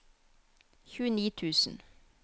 tjueni tusen